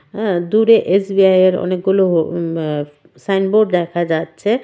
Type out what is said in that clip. হ্যাঁ দূরে এস_বি_আই এর অনেকগুলো উম আঃ সাইন বোর্ড দেখা যাচ্ছে .]